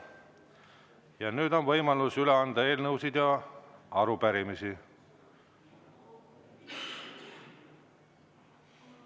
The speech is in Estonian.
Ja nüüd on võimalus üle anda eelnõusid ja arupärimisi.